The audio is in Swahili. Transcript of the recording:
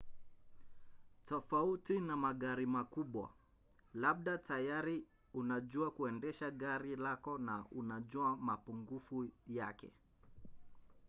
tofauti na magari makubwa labda tayari unajua kuendesha gari lako na unajua mapungufu yake